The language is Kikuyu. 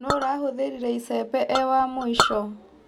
Nũ ũrahũthĩrire icembe e wa mũico.